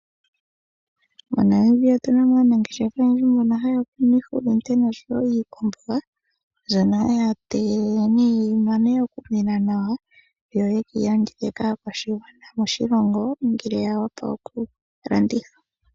Mo Namibia otuna mo aanangeshefa oyendji mbono haya kunu iihulunde noshowo iikwamboga, mbyono haya tege nee yi mane oku mena yo ye keyi landithe kaakwashigwana moshilongo ngele ya wapa oku landithwa.